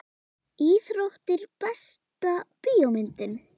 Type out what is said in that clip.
Íþróttir Besta bíómyndin?